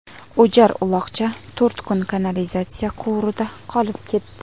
O‘jar uloqcha to‘rt kun kanalizatsiya quvurida qolib ketdi.